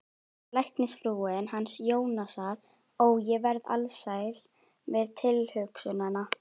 Læknisfrúin hans Jónasar, ó, ég verð alsæl við tilhugsunina